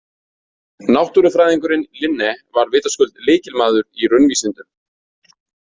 Náttúrufræðingurinn Linné var vitaskuld lykilmaður í raunvísindum.